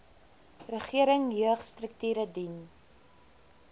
regering jeugstrukture dien